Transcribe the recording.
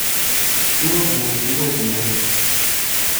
kwoguo, kwoguo....